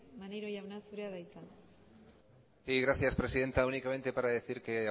maneiro jauna zurea da hitza sí gracias presidenta únicamente para decir que